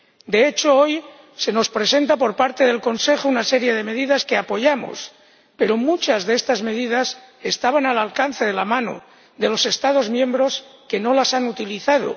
De hecho, hoy nos presenta el Consejo una serie de medidas que apoyamos, pero muchas de estas medidas estaban al alcance de la mano de los Estados miembros, que no las han utilizado.